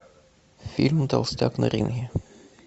фильм толстяк на ринге